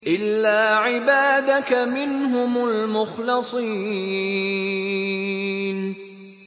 إِلَّا عِبَادَكَ مِنْهُمُ الْمُخْلَصِينَ